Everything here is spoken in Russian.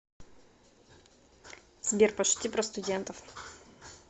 сбер пошути про студентов